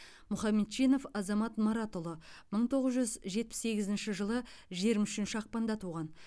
мұхамедчинов азамат маратұлы мың тоғыз жүз жетпіс сегізінші жылы жиырма үшінші ақпанда туған